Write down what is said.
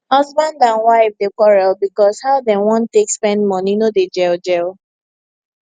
husband and wife dey quarrel because how dem wan take spend money no dey gel gel